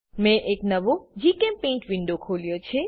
મેં એક નવો જીચેમ્પેઇન્ટ વિન્ડો ખોલ્યો છે